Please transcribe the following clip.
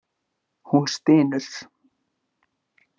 Hún stynur.